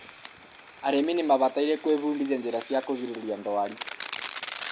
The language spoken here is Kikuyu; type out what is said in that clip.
arĩmi nimabataire gũĩbudithia njĩra cia kũgirĩrĩria ndwari